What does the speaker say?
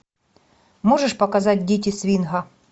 можешь показать дети свинга